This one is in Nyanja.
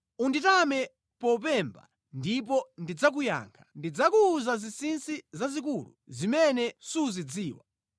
‘Unditame mopemba ndipo ndidzakuyankha. Ndidzakuwuza zinsinsi zazikulu zimene suzidziwa.’